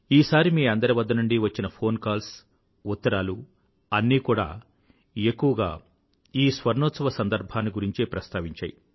ఈసారి మీ అందరి వద్ద నుండి వచ్చిన ఫోన్ కాల్స్ ఉత్తరాలు అన్నీ కూడా ఎక్కువగా ఈ స్వర్ణోత్సవ సందర్భాన్ని గురించే ప్రస్తావించాయి